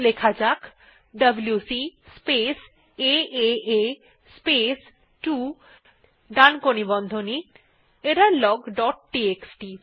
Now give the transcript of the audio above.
লেখা যাক W C space A A space 2 ডানকোণী বন্ধনী এররলগ ডট টিএক্সটি